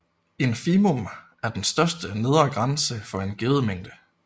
Infimum er den største nedre grænse for en given mængde